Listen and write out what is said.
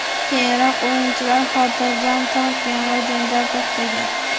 Keyinroq o‘yinchilar xotirjam tortgan va janjal to‘xtagan.